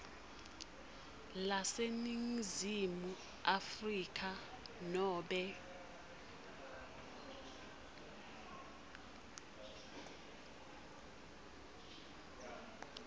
laseningizimu afrika nobe